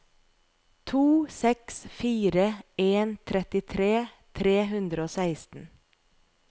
to seks fire en trettitre tre hundre og seksten